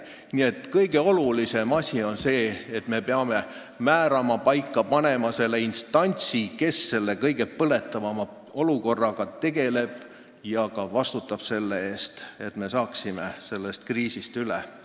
Nii et kõige olulisem asi on see, et me peame määrama, paika panema instantsi, kes selle kõige põletavama olukorraga tegeleb ja ka vastutab selle eest, et me saaksime sellest kriisist üle.